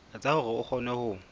etsa hore o kgone ho